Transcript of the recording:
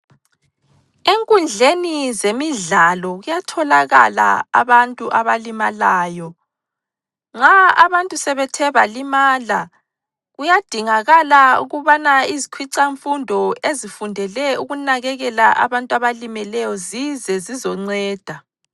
Enkundleni zemidlalo kuyatholakala abantu abalimalayo, nxa abantu sebethe balimala kuyadingakala ukubana izikhwicamfundo ezifundele ukunakekela abantu abalimeleyo zize zizonceda.